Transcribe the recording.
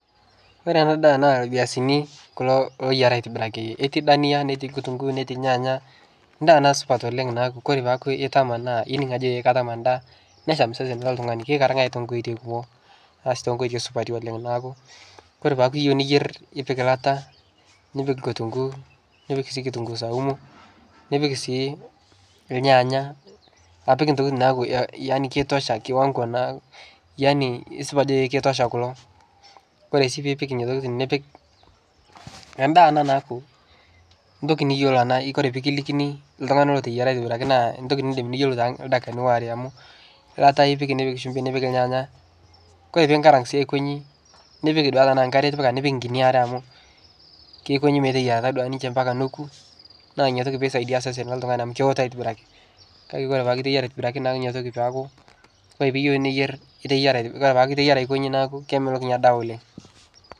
Ore ena daa irviazini kulo ooyiara aitibiraki, eti dania, netii kutung'uu, netii irnyaanya, endaa ena supat oleng' naaku kore paaku itama naa ining' ajo katama endaa nesham sesen loltlung'ani kikikar nkae too nkoitoi kumok aas too nkoitoi supati oleng'. Naaku kore aaku iyeu niyer ipiki elata, nipik kitung'uu nipik sii kitung'uu saumu, nipik sii irnyaanya apik intokitin naaku yaani kitosha kiwang'o na yaani kesipa ajo itosha kulo. Kore sii piipik nena tokitin nipik, endaa ena naaku eabki niyiolo naa ore pee kilikini iltung'anak looteyiara aitibiraki naa endtoki niindim niyolo toldakini waare amu elata ipik, nipik shumbi nipik irnyanya. Kore piinkarank sii aiko nchi nipik eilata naa nkare itipika nikpik inkinyi are amu kiko nchi meteyiarata duake ninche mpaka neeku naa ina toki piisaidia osesen loltung'ani amu kewoto aitibiraki kake ore peeku iteyaiara aitibiraki naa ina toki peeku ore piiyeu neyer iteyiara aiko nchi naaku kemelok ina daa oleng'.